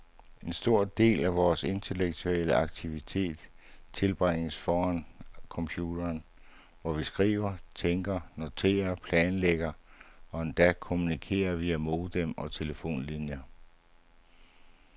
En stor del af vores intellektuelle aktivitet tilbringes foran computeren, hvor vi skriver, tænker, noterer, planlægger og endda kommunikerer via modem og telefonlinjer.